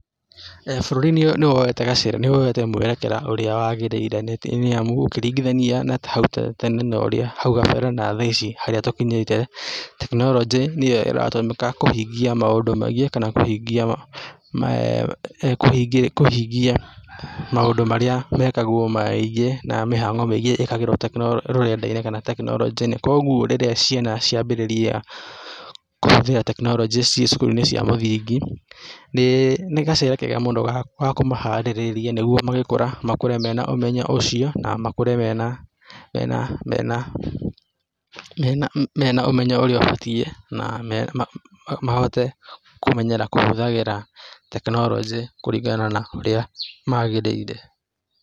Bũrũri nĩwoete gacĩra nĩwoete mũerekera ũrĩa wagĩrĩire nĩthĩ nĩamu ũkĩringithania na hau hau tene na ũrĩa hau kambere na thaa ici harĩa tũkinyĩte tekinoronjĩ nĩyo ĩratũmĩka kũhingia maũndũ maingĩ kana kũhingia me kũhingia kũhingia maũndũ marĩa mekagwo maiiingĩ na mĩhango mĩingĩ ikagĩrwo tekinoro rũrenda-inĩ kana tekinoronjĩ-inĩ koguo rĩrĩa ciana ciambĩrĩria kũhũthĩra tekinoronjĩ ciĩ cukuru -inĩ cia mũthingi, nĩĩ nĩ gacĩra kega mũno ga ga kũmaharĩrĩria nĩguo magĩkũra makũre mena ũmenyo ũcio na makũre mena mena mena mena mena ũmenyo urĩa ũbatie na me na mahote kũmenyera kũhũthagira tekinoronjĩ kũringana na ũrĩa magĩrĩire.